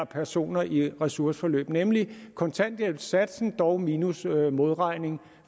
personer i ressourceforløb nemlig kontanthjælpssatsen dog minus modregningen